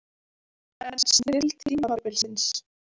En snilld tímabilsins?